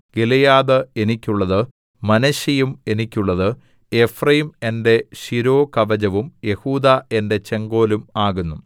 Gilead എനിക്കുള്ളത് മനശ്ശെയും എനിക്കുള്ളത് എഫ്രയീം എന്റെ ശിരോകവചവും യെഹൂദാ എന്റെ ചെങ്കോലും ആകുന്നു